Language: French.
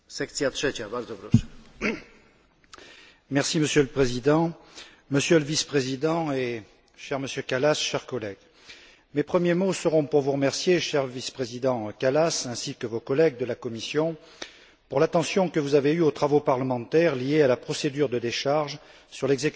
Monsieur le Président, Monsieur le Vice président et cher Monsieur Kallas, chers collègues, mes premiers mots seront pour vous remercier, cher Vice président Kallas, ainsi que vos collègues de la Commission pour l'attention que vous avez accordée aux travaux parlementaires liés à la procédure de décharge sur l'exécution du budget de la Commission européenne et des agences exécutives pour